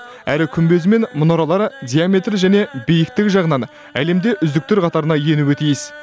әрі күмбезі мен мұнаралары диаметрі және биіктігі жағынан әлемде үздіктер қатарына енуі тиіс